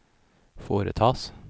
foretas